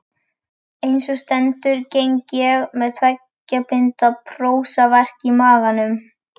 Einsog stendur geng ég með tveggja binda prósaverk í maganum.